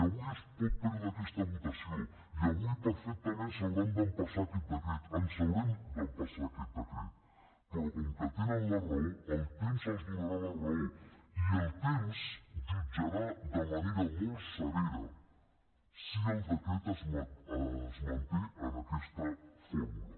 i avui es pot perdre aquesta votació i avui perfectament s’hauran d’empassar aquest decret ens haurem d’empassar aquest decret però com que tenen la raó el temps els donarà la raó i el temps jutjarà de manera molt severa si el decret es manté en aquesta fórmula